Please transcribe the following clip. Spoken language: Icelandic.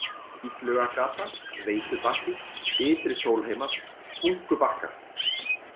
Illugagata, Veitubakki, Ytri-Sólheimar, Hunkubakkar